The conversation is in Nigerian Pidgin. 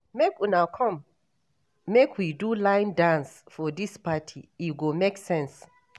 Make una come make we do line dance for dis party, e go make sense.